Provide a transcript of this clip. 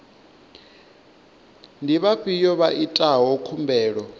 ndi vhafhiyo vha itaho khumbelo